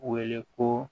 Wele ko